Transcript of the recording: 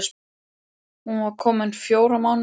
Hún var komin fjóra mánuði á leið.